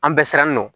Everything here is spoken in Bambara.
An bɛɛ siran nɔ